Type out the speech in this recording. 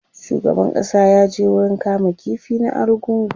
shugaban ƙasa ya je wurin kama ƙifi na argungu